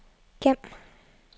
gem